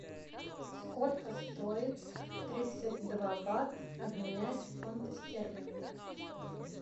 сколько стоит тридцать два бат обменять в фунты стерлинги